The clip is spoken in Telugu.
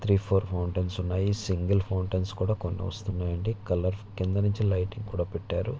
త్రీ ఫోర్ మౌంటైన్స ఉన్నయి. సింగల్ మౌంటైన్ కూడా కొన్ని వస్తున్నాయి. అంది కలర్ క్రింద నుంచి కూడా లైటింగ్ పెట్టారు.